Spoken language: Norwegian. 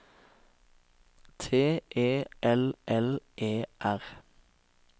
T E L L E R